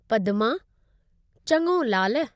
पदमा: चङो लालु।